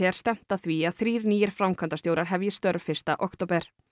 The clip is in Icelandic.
er stefnt að því að þrír nýir framkvæmdastjórar hefji störf fyrsta október